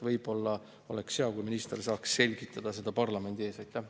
Võib-olla oleks hea, kui minister saaks seda parlamendi ees selgitada.